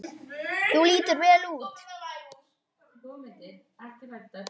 Þú lítur vel út.